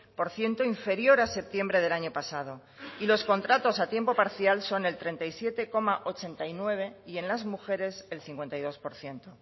por ciento inferior a septiembre del año pasado y los contratos a tiempo parcial son el treinta y siete coma ochenta y nueve y en las mujeres el cincuenta y dos por ciento